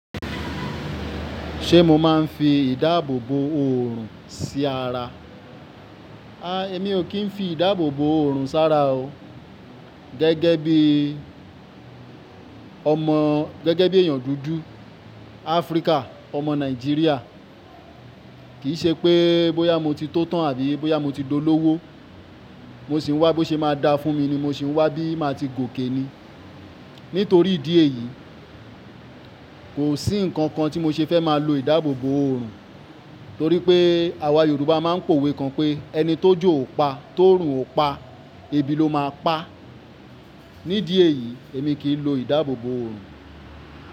Ṣé mo máa ń fi ìdáàbò bò oòrùn sí ara? A, èmi ò kí ń fi ìdáàbòbò òrùn sí ara o. Gẹ́gẹ́ bí ọmọ, gẹ́gẹ́ bí èèyàn dúdú Áfríkà, ọmọ Nàìjíríà, kì í ṣe pé bóyá mo ti tó tán àbí bóyá mo ti dolówó, mo sì ń wá bó ṣe máa dá fún mi ni mo sì ń wá bí màá ti gòkè ni. Nítorí ìdí èyí, kò sí ǹkan kan tí mo ṣe fẹ́ máa lo ìdáàbòbò oòrùn. Torí pé àwa Yorùbá máa ń pòwe kan pé "ẹni t'ójó ò pa, tó'òrun ò pa, ebi ló máa pa". Nídìí èyí, èmi kì í lo ìdáàbòbò oòrùn.